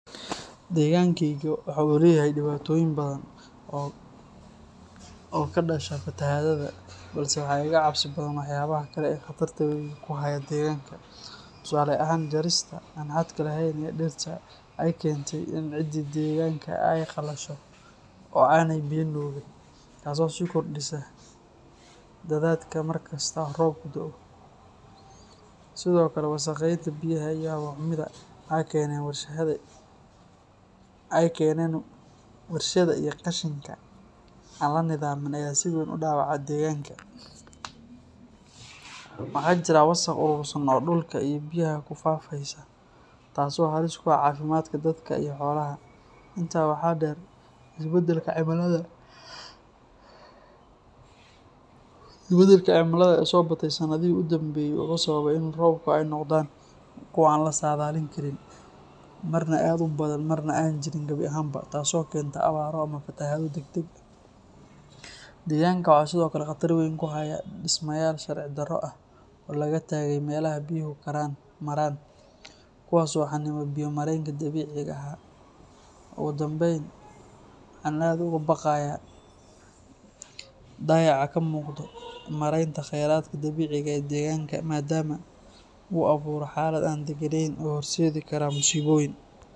Degankayga waxa uu leeyahay dhibaatooyin badan oo ka dhasha fatahaadaha, balse waxa iga cabsi badan waxyaabaha kale ee khatarta weyn ku haya deegaanka. Tusaale ahaan, jarista aan xadka lahayn ee dhirta ayaa keentay in ciidii deegaanka ay qallasho oo aanay biyo nuugin, taasoo sii kordhisa daadadka markasta oo roobku da'o. Sidoo kale, wasakheynta biyaha iyo hawo xumida ay keeneen warshadaha iyo qashinka aan la nidaamin ayaa si weyn u dhaawacaya deegaanka. Waxaa jira wasaq urursan oo dhulka iyo biyaha ku faafaysa taasoo halis ku ah caafimaadka dadka iyo xoolaha. Intaa waxaa dheer, isbeddelka cimilada ee soo batay sanadihii u dambeeyay wuxuu sababay in roobabku ay noqdaan kuwa aan la saadaalin karin, marna aad u badan marna aan jirin gabi ahaanba, taasoo keenta abaaro ama fatahaado degdeg ah. Deegaanka waxaa sidoo kale khatar weyn ku haya dhismayaal sharci darro ah oo laga taagay meelaha biyuhu maraan, kuwaas oo xanniba biyo mareenkii dabiiciga ahaa. Ugu dambayn, waxa aan aad uga baqayaa dayaca ka muuqda maaraynta kheyraadka dabiiciga ah ee deegaanka, maadaama uu abuuro xaalad aan deganayn oo horseededi karaah musiboyin.